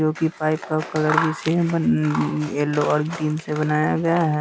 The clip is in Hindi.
जो कि पाइप का कलर भी सेम बन यलो और ग्रीन से बनाया गया है।